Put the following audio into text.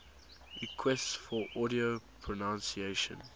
requests for audio pronunciation